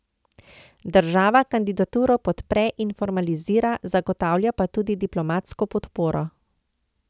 Država kandidaturo podpre in formalizira, zagotavlja pa tudi diplomatsko podporo.